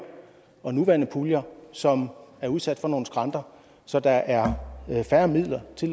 og nuværende puljer som er udsat for at nogle skranter så der er færre midler til